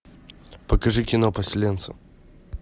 покажи кино поселенцы